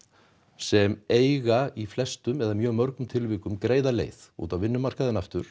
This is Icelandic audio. sem eiga í flestum eða mjög mörgum tilvikum greiða leið út á vinnumarkaðinn aftur